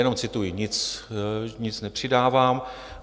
Jenom cituji, nic nepřidávám.